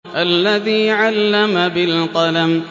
الَّذِي عَلَّمَ بِالْقَلَمِ